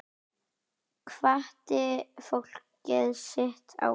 Hvatti fólkið sitt áfram.